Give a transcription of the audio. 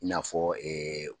I n'afɔ